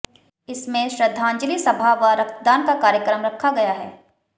इसमें श्रद्धांजलि सभा व रक्तदान का कार्यक्रम रखा गया है